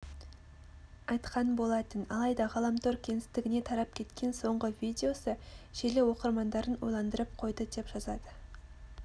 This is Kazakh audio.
айтқан болатын алайда ғаламтор кеңістігіне тарап кеткен соңғы видеосы желі оқырмандарын ойландырып қойды деп жазады